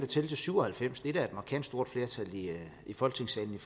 til syv og halvfems og det er da et markant stort flertal i folketingssalen